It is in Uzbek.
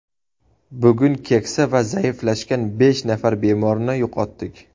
Bugun keksa va zaiflashgan besh nafar bemorni yo‘qotdik.